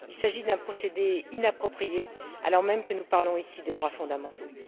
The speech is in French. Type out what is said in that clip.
Il s'agit d'un procédé inapproprié alors même que nous parlons ici des droits fondamentaux.